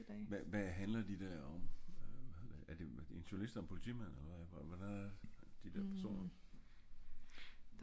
hva hva handler de der om er det en journalist og en politimand eller hva øh hvordan er de der personer